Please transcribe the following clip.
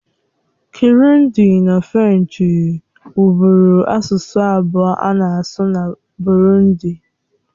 Kịrundi na Frenchi wubụru asụsụ abụọ a na-asụ na Burundi.